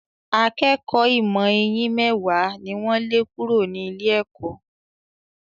Akékọ̀ọ́ ìmọ̀ eyín mẹ́wàá ni wọ́n lé kúrò ní ilé-ẹ̀kọ́.